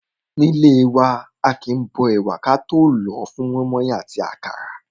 Nílé wa, aàkín bó ẹ̀wà wa ka tó lòó fún mọ́ímọ́í àti àkàrà.